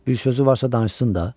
Bir sözü varsa danışsın da.